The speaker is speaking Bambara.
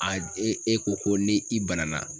A e e ko ko ne i banana